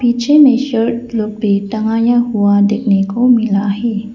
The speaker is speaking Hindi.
पीछे में शर्ट लोग भी टंगाया हुआ देखने को मिला है।